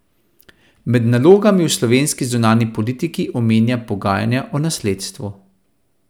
Med nalogami v slovenski zunanji politiki omenja pogajanja o nasledstvu.